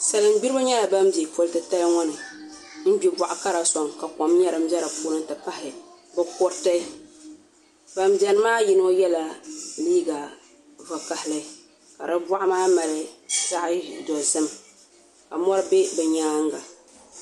Salin gbiribi nyɛla bin bɛ poli titali ŋo ni n gbi boɣa kara soŋ ka kom nyɛ din bɛ di puuni ti pahi bi kuriti ban biɛni maa yino yɛla liiga vakaɣali ka di boɣu maa mali zaɣ dozim ka mori bɛ bi nyaanga